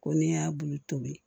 Ko n'i y'a bulu tobi